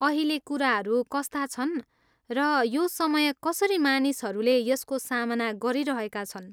अहिले कुराहरू कस्ता छन् र यो समय कसरी मानिसहरूले यसको सामना गरिरहेका छन्?